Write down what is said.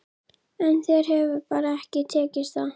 En þér hefur bara ekki tekist það.